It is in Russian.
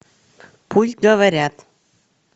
пусть говорят